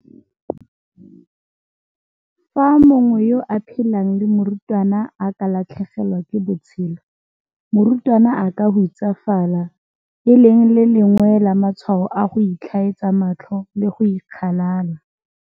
Fa mongwe yo a phelang le morutwana a ka latlhegelwa ke botshelo, morutwana a ka hutsafala, e leng le lengwe la matshwao a go itlhaetsa matlho le go ikgalala.